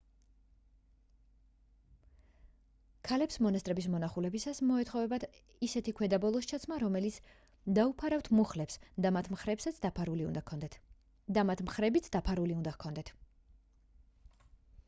ქალებს მონასტრების მონახულებისას მოეთხოვებათ ისეთი ქვედაბოლოს ჩაცმა რომელიც დაუფარავთ მუხლებს და მათ მხრებიც დაფარული უნდა ჰქონდეთ